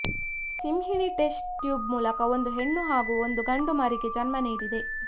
ಸಿಂಹಿಣಿ test tube ಮೂಲಕ ಒಂದು ಹೆಣ್ಣು ಹಾಗೂ ಒಂದು ಗಂಡು ಮರಿಗೆ ಜನ್ಮ ನೀಡಿದೆ